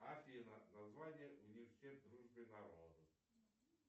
афина название университет дружбы народов